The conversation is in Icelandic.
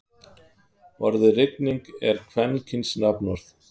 Orðið rigning er kvenkyns nafnorð.